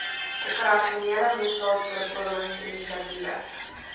operasionele misdaadvoorkomings inisiatiewe